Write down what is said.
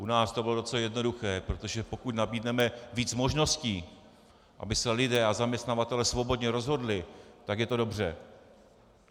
U nás to bylo docela jednoduché, protože pokud nabídneme víc možností, aby se lidé a zaměstnavatelé svobodně rozhodli, tak je to dobře.